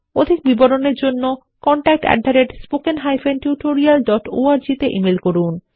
অধিক বিবরণের জন্য contactspoken tutorialorg তে ইমেল করুন